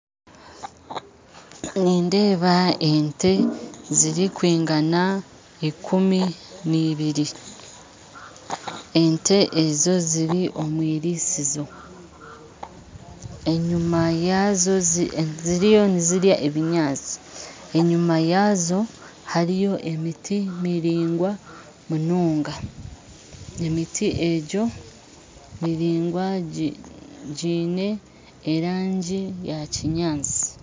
Nindeeba ente zirikwigana ekumi nibiri ente ezo ziri omwirisizo ziriyo nizirya ebinyatsi enyima yaazo hariyo emiti miringwa munonga emiti egyo miringwa eine erangi yakinyatsi